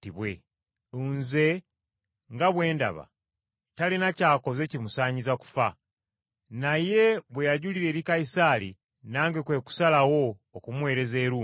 Nze nga bwe ndaba, talina ky’akoze kimusaanyiza kufa. Naye bwe yajulira eri Kayisaali, nange kwe kusalawo okumuweereza e Ruumi.